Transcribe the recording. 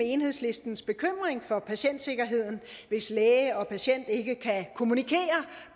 enhedslistens bekymring for patientsikkerheden hvis læge og patient ikke kan kommunikere